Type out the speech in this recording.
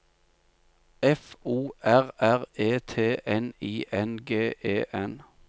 F O R R E T N I N G E N